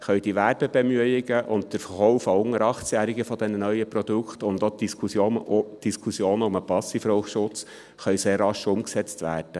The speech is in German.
So können auch die Werbebemühungen, der Verkauf dieser neuen Produkte an unter 18-Jährige und auch die Diskussionen um den Passivrauchschutz sehr rasch umgesetzt werden.